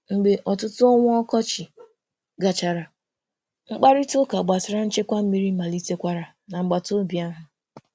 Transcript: Mgbe ọtụtụ ọnwa ọkọchị gachara, mkparịtaụka gbasara nchekwa mmiri malitekwara n'agbataobi ahụ.